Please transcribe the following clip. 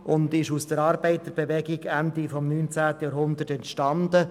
Sie entstand Ende des 19. Jahrhunderts aus der Arbeiterbewegung.